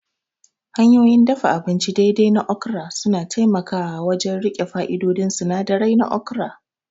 Hanyoyin dafa abinci daidai na okra suna taimakawa wajen riƙe fa'idodin sinadirai na okra